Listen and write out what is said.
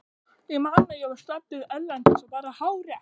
Ég man að ég var staddur erlendis og bara hágrét.